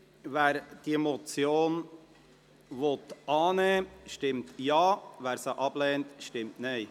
Wer diese Motion annehmen will, stimmt Ja, wer sie ablehnt, stimmt Nein.